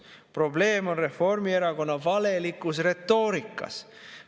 Probleem on Reformierakonna valelikus retoorikas.